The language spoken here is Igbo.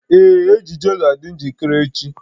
Ee, ejiji ga-adị njikere echi